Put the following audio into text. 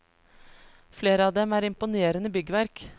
Flere av dem er imponerende byggverk.